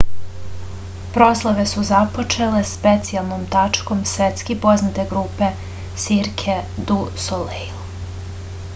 proslave su započele specijalnom tačkom svetski poznate grupe cirque du soleil